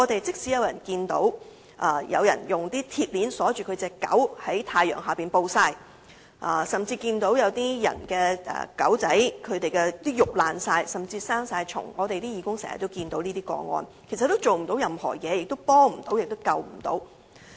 即使有人看見狗隻被人用鐵鏈鎖着在太陽下暴曬，甚至狗隻身上的肉已潰爛並長滿了蟲，而這亦是義工經常看見的情況，但卻甚麼也做不到、幫不到，也拯救不到。